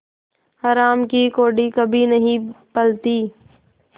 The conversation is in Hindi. हराम की कौड़ी कभी नहीं फलती